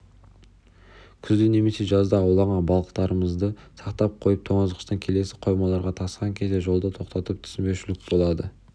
күзде немесе жазда ауланған балықтарымдызды сақтап қойған тоңазытқыштан келесі қоймаларға тасыған кезде жолда тоқтатып түсінбеушілік болады